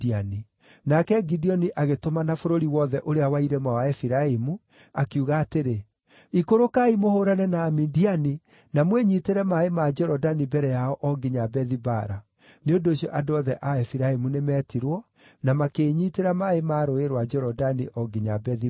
Nake Gideoni agĩtũmana bũrũri wothe ũrĩa wa irĩma wa Efiraimu, akiuga atĩrĩ, “Ikũrũkai mũhũũrane na Amidiani na mwĩnyiitĩre maaĩ ma Jorodani mbere yao o nginya Bethi-Bara.” Nĩ ũndũ ũcio andũ othe a Efiraimu nĩmetirwo, na makĩĩnyiitĩra maaĩ ma Rũũĩ rwa Jorodani o nginya Bethi-Bara.